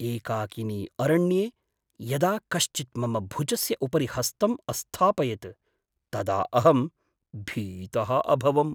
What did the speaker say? एकाकिनि अरण्ये यदा कश्चित् मम भुजस्य उपरि हस्तम् अस्थापयत् तदा अहं भीतः अभवम्।